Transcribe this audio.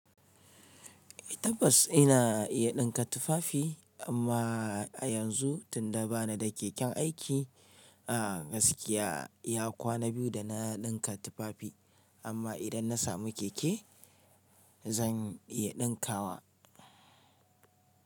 Tabbas ina iya ɗinka tufafi. Amma a yanzu tunda ba ni da keken aiki a gaskiya ya kwana biyu da na ɗinka tufafi. Amma idan na samu keke zan iya ɗinkawa.